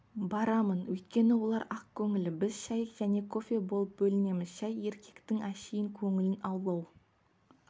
барамын өйткені олар ақкөңіл біз шәй және кофе болып бөлінеміз шәй еркектің әшейін көңілін аулау